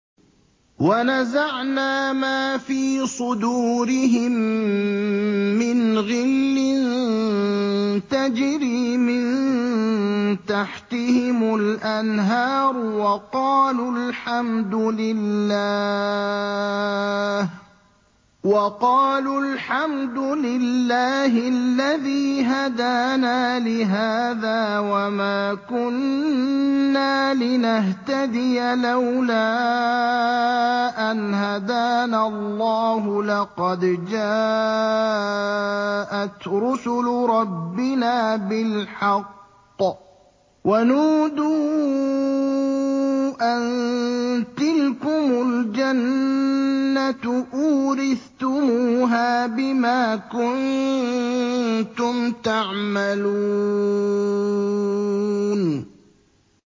وَنَزَعْنَا مَا فِي صُدُورِهِم مِّنْ غِلٍّ تَجْرِي مِن تَحْتِهِمُ الْأَنْهَارُ ۖ وَقَالُوا الْحَمْدُ لِلَّهِ الَّذِي هَدَانَا لِهَٰذَا وَمَا كُنَّا لِنَهْتَدِيَ لَوْلَا أَنْ هَدَانَا اللَّهُ ۖ لَقَدْ جَاءَتْ رُسُلُ رَبِّنَا بِالْحَقِّ ۖ وَنُودُوا أَن تِلْكُمُ الْجَنَّةُ أُورِثْتُمُوهَا بِمَا كُنتُمْ تَعْمَلُونَ